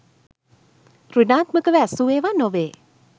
සෘණාත්මකව ඇසූ ඒවා නොවේ